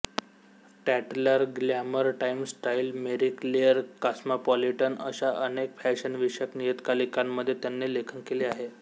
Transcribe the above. Tatler Glamour Times Style Marie Claire Cosmopolitan अशा अनेक फॅशनविषयक नियतकालिकांमध्ये त्याने लेखन केले आहे